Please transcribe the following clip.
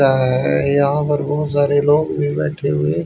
यहां पर बहुत सारे लोग भी बैठे हुए--